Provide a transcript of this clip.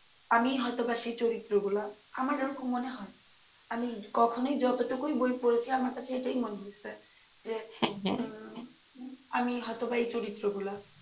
আমিই হয়তো বা সেই চরিত্রগুলা আমার এরকম মনেহয় আমি কখনই যতটুকুই বই পড়েছি আমার কাছে এইটাই মনে হয়েসে যে আমি হয়তোবা এই চরিত্রগুলা,